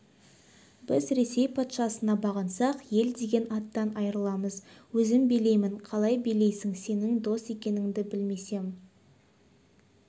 біз ресей патшасына бағынсақ ел деген аттан айырыламыз өзім билеймін қалай билейсің сенің дос екеніңді білмесем